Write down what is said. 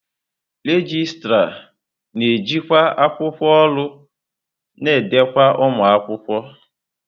Regịstrá na-ejikwa akwụkwọ ọrụ na ndekọ ụmụ akwụkwọ.